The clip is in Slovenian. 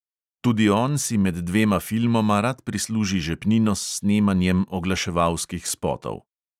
Tudi on si med dvema filmoma rad prisluži žepnino s snemanjem oglaševalskih spotov.